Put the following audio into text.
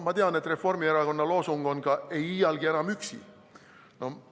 Ma tean, et Reformierakonna loosung on ka "Ei iial enam üksi!".